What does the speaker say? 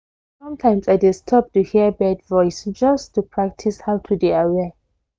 sometimes i dey stop to hear bird voice just to practice how to dey aware